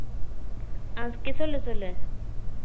சொல்லு சொல்லு